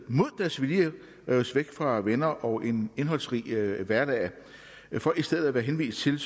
mod deres vilje holdes væk fra venner og en indholdsrig hverdag for i stedet at være henvist til